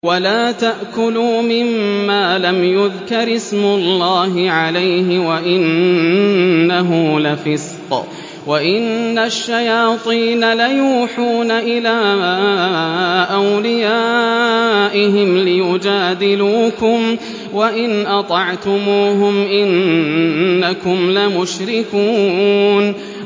وَلَا تَأْكُلُوا مِمَّا لَمْ يُذْكَرِ اسْمُ اللَّهِ عَلَيْهِ وَإِنَّهُ لَفِسْقٌ ۗ وَإِنَّ الشَّيَاطِينَ لَيُوحُونَ إِلَىٰ أَوْلِيَائِهِمْ لِيُجَادِلُوكُمْ ۖ وَإِنْ أَطَعْتُمُوهُمْ إِنَّكُمْ لَمُشْرِكُونَ